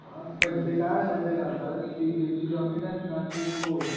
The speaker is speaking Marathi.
ते काय आहे माहिती आहे का आता जमीन आहेत ना ते खुप